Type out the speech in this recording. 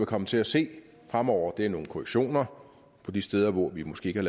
komme til at se fremover er nogle korrektioner de steder hvor vi måske ikke